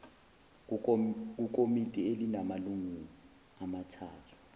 kukomiti elinamalungu amathathu